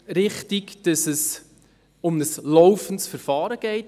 Ebenso richtig ist, dass es um ein laufendes Verfahren geht.